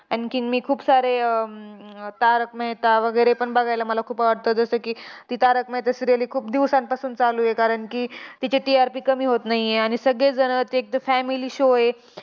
आणखीन मी खूप सारे आह अं तारक मेहता वगैरे पण बघायला पण मला खूप आवडतं. जसं की, ती तारक मेहता serial ही खूप दिवसांपासून चालू आहे. कारण की, तिची TRP कमी होत नाहीये, आणि सगळेजण ते एकतर family show आहे.